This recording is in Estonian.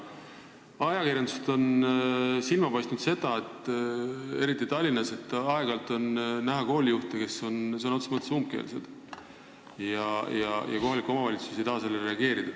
Ajakirjandusest on silma jäänud, et eriti Tallinnas on koolijuhte, kes on sõna otseses mõttes umbkeelsed, aga kohalik omavalitsus ei taha sellele reageerida.